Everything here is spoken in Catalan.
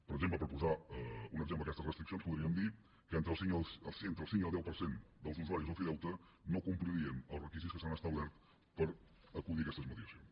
per exemple per posar un exemple d’aquestes restriccions podríem dir que entre el cinc i el deu per cent dels usuaris de l’ofideute no complirien els requisits que s’han establert per acudir a aquestes mediacions